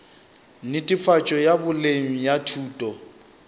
netefatšo ya boleng ya thuto